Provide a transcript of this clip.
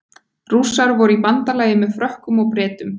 Rússar voru í bandalagi með Frökkum og Bretum.